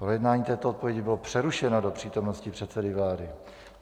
Projednání této odpovědi bylo přerušeno do přítomnosti předsedy vlády.